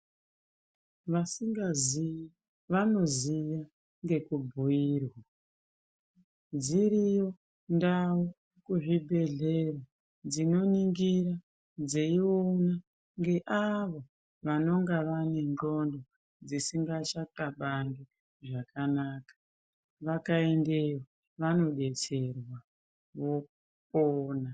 Vasingazii, vanoziya ngekubhuirwa, dziriyo ndau kuzvibhedhlera, dzinoningira dzeiona ngeavo, vanonga vane ngqondo dzisingachaqabangi zvakanaka, vakaendeyo, vanodetserwa, vopona.